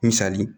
Misali